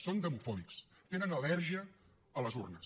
són demofòbics tenen al·lèrgia a les urnes